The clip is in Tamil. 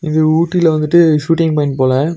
இது ஊட்டில வந்துட்டு ஷூட்டிங் பாயிண்ட் போல.